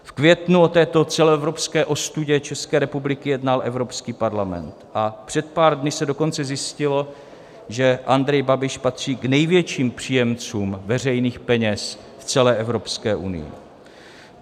V květnu o této celoevropské ostudě České republiky jednal Evropský parlament a před pár dny se dokonce zjistilo, že Andrej Babiš patří k největším příjemcům veřejných peněz v celé Evropské unii.